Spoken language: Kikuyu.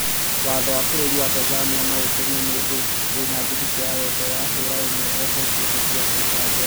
Watho wa bũrũri wa Tanzania no ũtũme mũndũ wĩna thiritũ ya wendo wa hũra ũmwe ohwo kĩoho kĩa maica njera